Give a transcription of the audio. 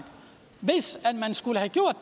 hvis man skulle have gjort